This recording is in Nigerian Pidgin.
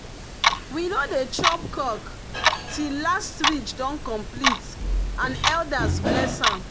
we no dey chop cock till last ridge don complete and elders bless am.